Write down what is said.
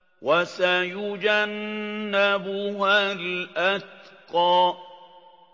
وَسَيُجَنَّبُهَا الْأَتْقَى